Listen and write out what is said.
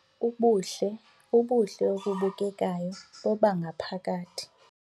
Ubuhle obubukekayo bobangaphakathi